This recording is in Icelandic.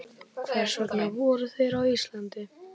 Hvers vegna voru þeir á Íslandi?